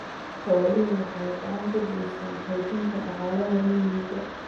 Xooluhu waxay gacan ka geystaan ??xoojinta dhaqaalaha miyiga.